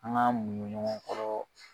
An ŋ'an muɲun ɲɔgɔn kɔrɔ